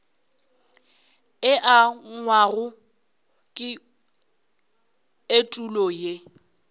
e angwago ke etulo ye